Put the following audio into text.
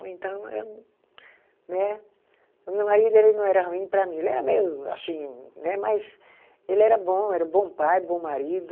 Então eu né. O meu marido ele não era ruim para mim, ele era meio assim né, mas ele era bom, era um bom pai, bom marido.